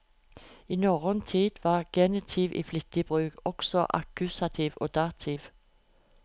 I norrøn tid var genitiv i flittig bruk, og også akkusativ og dativ.